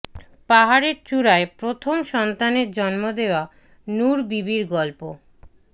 পাহাড়ের চূড়ায় প্রথম সন্তানের জন্ম দেয়া নূর বিবির গল্প